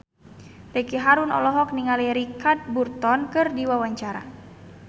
Ricky Harun olohok ningali Richard Burton keur diwawancara